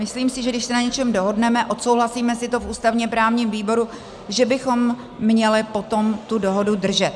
Myslím si, že když se na něčem dohodneme, odsouhlasíme si to v ústavně-právním výboru, že bychom měli potom tu dohodu držet.